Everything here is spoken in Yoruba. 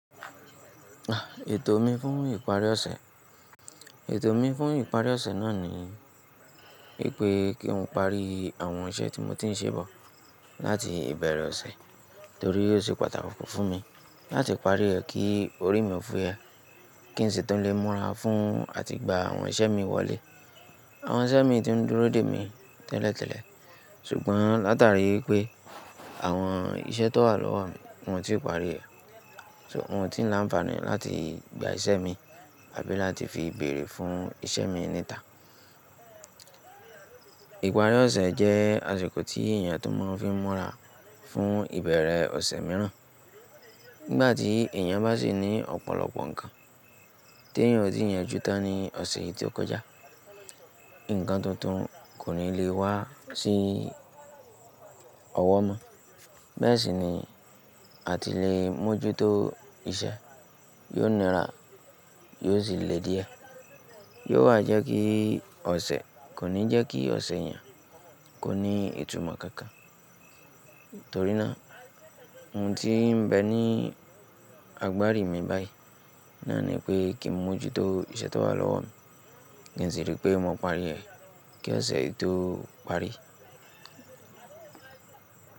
Ètò mi fún ìparí ọ̀sẹ̀, ètò mi fún ìparí ọ̀sẹ̀ náà ni wípé kí n parí àwọn iṣẹ́ tí mo ti ń ṣe bọ̀ láti ìbẹ̀rẹ̀ ọ̀sẹ̀ torí o ṣe pàtàkì fún mi láti parí rẹ̀ kí orí mi fuyẹ. Kí n sì tún lè múra fún àti gba àwọn iṣẹ́ mi wọlé. Àwọn iṣẹ́ mi tí ń dúró dè mí tẹ́lẹ̀tẹ́lẹ̀ ṣùgbọ́n látàrí wipé àwọn iṣẹ́ tó wà lọ́wọ́ mi, un o tí ì parí ẹ̀, so un ò tí ì ń láǹfààní láti gba iṣẹ́ mi àbí láti fi bèrè fún iṣẹ́ mi Ìparí ọ̀sẹ̀ jẹ́ àsìkò tí èèyàn tó máa ń fi múra fún ìbẹ̀rẹ̀ ọ̀sẹ̀ mìíràn. Nígbà tí èèyàn bá sì ní ọ̀pọ̀lọpọ̀ nǹkan tí èèyàn ò tíì yanjú tán ní ọ̀sẹ̀ yìí tí ó kọjá, nǹkan tuntun kò ní lè wá sí ọwọ́ mọ́. Bẹ́ẹ̀ sì ni àti lè mójútó iṣẹ́ yóò nira, yóò sì le díẹ̀, yóò wa jẹ́ kí ọ̀sẹ̀, kò ní jẹ́ kí ọ̀sẹ̀ èèyàn kó ní ìtumọ̀ kankan. Torí náà ohun tíì ń bẹ ní agbári mi báyìí. Náà ni pé kí n mójútó iṣẹ́ tó wà lọ́wọ́ mi kí n sì rí pé mò ń parí rẹ̀ kí ọ̀sẹ̀ yìí tó parí.